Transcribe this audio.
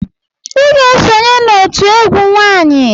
Ị ga-esonye n'òtù egwu nwanyị!